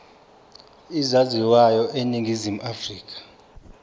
ezaziwayo eningizimu afrika